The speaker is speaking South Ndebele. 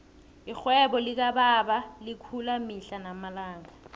irhwebo likababa likhulu mihla namalanga